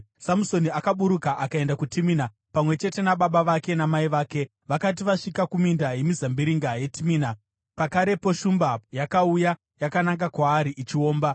Samusoni akaburuka akaenda kuTimina pamwe chete nababa vake namai vake. Vakati vasvika kuminda yemizambiringa yeTimina, pakarepo shumba yakauya yakananga kwaari ichiomba.